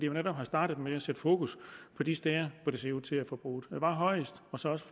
jo netop er startet med at sætte fokus på de steder hvor det ser ud til at forbruget er højest og så også